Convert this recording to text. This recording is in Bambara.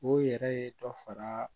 O yɛrɛ ye dɔ fara